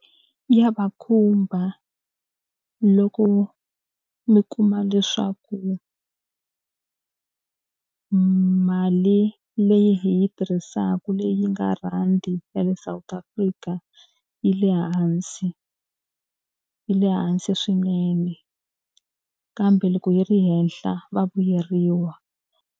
Ya va khumba loko mi kuma leswaku mali leyi hi yi tirhisaka leyi yi nga rhandi ya le South Africa yi le hansi, yi le hansi swinene kambe loko yi ri henhla va vuyeriwa.